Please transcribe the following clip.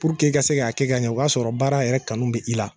Puruke i ka se k'a kɛ ka ɲɛ o k'a sɔrɔ baara yɛrɛ kanu be i la